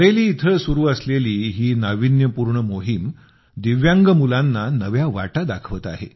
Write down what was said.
बरेली येथे सुरू असलेली ही नावीन्यपूर्ण मोहीम दिव्यांग मुलांना नव्या वाटा दाखवत आहे